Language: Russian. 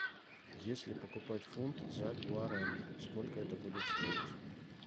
если покупать фунт за гуарани сколько это будет стоить